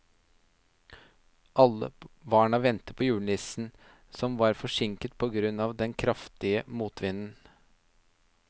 Alle barna ventet på julenissen, som var forsinket på grunn av den kraftige motvinden.